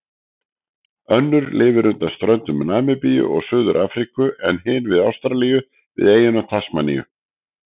Önnur lifir undan ströndum Namibíu og Suður-Afríku en hin við Ástralíu, við eyjuna Tasmaníu.